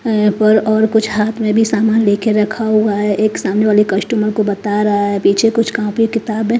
है पर और कुछ हाथ में भी सामान लेके रखा हुआ है एक सामने वाली कस्टमर को बता रहा है पीछे कुछ कॉपी किताब है।